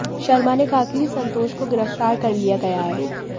शर्मा ने कहा कि संतोष को गिरफ्तार कर लिया गया है